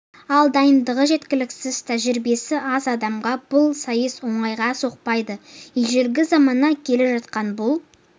ал дайындығы жеткіліксіз тәжірибесі аз адамға бұл сайыс оңайға соқпайды ежелгі заманнан келе жатқан бұл